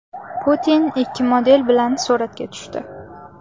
Putin ikki model bilan suratga tushdi .